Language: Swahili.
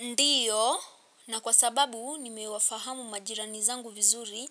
Ndiyo na kwa sababu nimewafahamu majirani zangu vizuri.